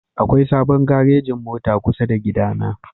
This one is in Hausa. Akwai sabon garejin mota kusa da gidana